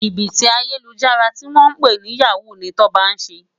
Jibiti Ayélújàrá tiwòn pè ni yáwú ni Toba n sé